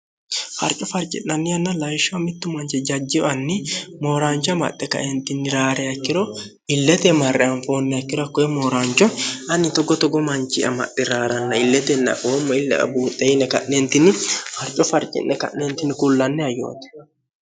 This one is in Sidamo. harco farci'nanni yanna layishsha mittu manchi jajjiwanni mooraancho amaxxe kaentinni raare akkiro illete marre anfoonniakkiro hakkoye mooraancho ani toggo togo manchi'amaxxi raa'ranna illetenna oommo illaa buuxxeyine ka'neentinni harco farci'ne ka'neentinni kullanni hayyoote